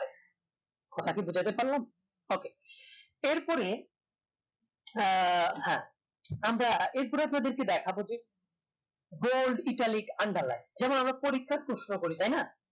আপনাকে বোঝাতে পারলাম okay এরপরে আহ হ্যাঁ আমরা এরপরে আপনাদের দেখাবো যে bold italic underline যেমন আমরা পরীক্ষার প্রশ্ন করি তাই না